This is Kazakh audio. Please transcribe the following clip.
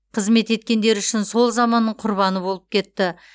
қызмет еткендері үшін сол заманның құрбаны болып кетті